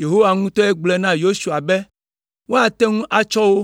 Yehowa ŋutɔe gblɔe na Yosua be woate ŋu atsɔ wo.